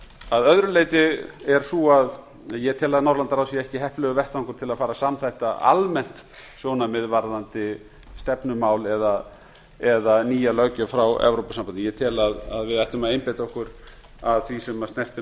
að öðru leyti er sú að ég tel að norðurlandaráð sé ekki heppilegur vettvangur til að fara að samþætta almennt sjónarmið varðandi stefnumál eða nýja löggjöf frá evrópusambandinu ég tel að við ættum að einbeita okkur að því sem snertir